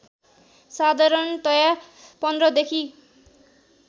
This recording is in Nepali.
साधारणतया १५ देखि